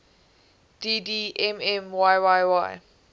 dd mm yyyy